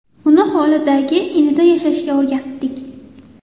Uni hovlidagi inida yashashga o‘rgatdik.